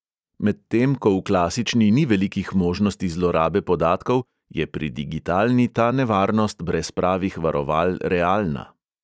Medtem ko v klasični ni velikih možnosti zlorabe podatkov, je pri digitalni ta nevarnost brez pravih varoval realna.